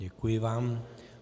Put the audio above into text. Děkuji vám.